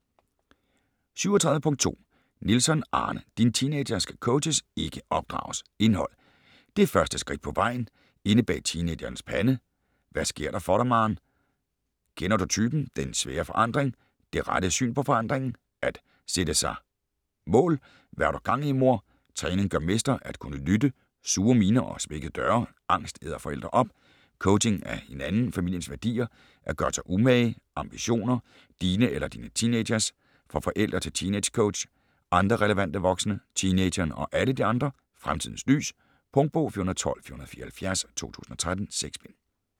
37.2 Nielsson, Arne: Din teenager skal coaches, ikke opdrages Indhold: Det første skridt på vejen, Inde bag teenagerens pande, Hvad sker der for dig, maarn, Kender du typen?, Den svære forandring, Det rette syn på forandringen, At sætte sig må, Hva' har du gang i, mor?, Træning gør mester, At kunne lytte, Sure miner og smækkede døre, Angst æder forældre op, Coaching af hinanden, familiens værdier, At gøre sig umage, Ambitioner - dine eller din teenagers?, Fra forældre til teeangecoach, Andre relevante voksne, Teenageren og alle de andre, "Fremtidens lys". Punktbog 412474 2013. 6 bind.